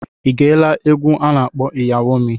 I geela egwu a na-akpọ Iyawo MI?